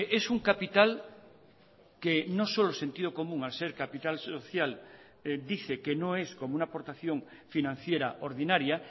es un capital que no solo sentido común al ser capital social dice que no es como una aportación financiera ordinaria